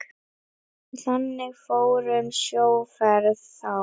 Þannig fór um sjóferð þá.